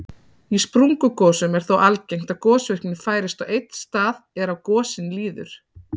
Í sprungugosum er þó algengt að gosvirknin færist á einn stað er á gosin líður.